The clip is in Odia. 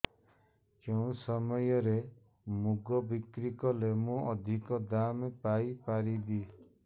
କେଉଁ ସମୟରେ ମୁଗ ବିକ୍ରି କଲେ ମୁଁ ଅଧିକ ଦାମ୍ ପାଇ ପାରିବି